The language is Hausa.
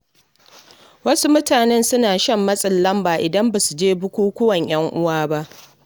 Wasu mutane suna shan matsin lamba idan ba su je bukukkuwan 'yan uwa ba.